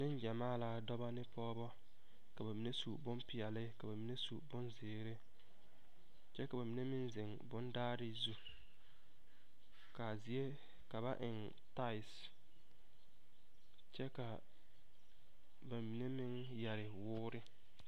Neŋgyɛmaa la dɔba ane pɔgeba ka ba mine su bonpeɛlle ka ba mine su bonzeere kyɛ ka ba mine meŋ zeŋ bondaare zu ka a zie ka ba eŋ tiles kyɛ ka ba mine meŋ yɛre woore.